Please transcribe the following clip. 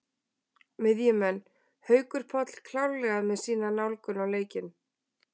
Miðjumenn: Haukur Páll klárlega með sína nálgun á leikinn.